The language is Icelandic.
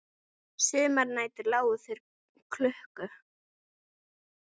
Sumar nætur lágu þeir klukku